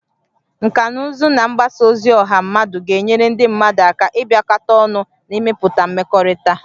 Nkà na ụzụ na mgbasa ozi ọha mmadụ ga-enyere ndị mmadụ aka ịbịakọta ọnụ na ịmepụta mmekọrịta